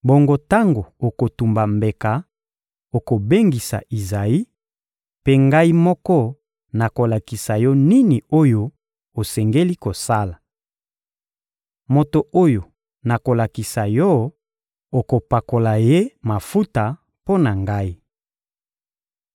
Bongo tango okotumba mbeka, okobengisa Izayi; mpe Ngai moko nakolakisa yo nini oyo osengeli kosala. Moto oyo nakolakisa yo, okopakola ye mafuta mpo na Ngai.